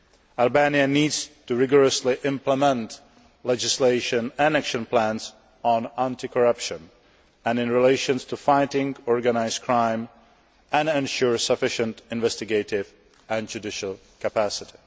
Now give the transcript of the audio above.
Albania needs to rigorously implement legislation and action plans on anti corruption and in relation to fighting organised crime and ensure sufficient investigative and judicial capacity.